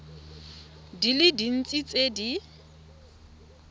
di le dintsi tse di